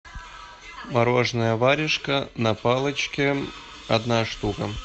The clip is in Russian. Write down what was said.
мороженое варежка на палочке одна штука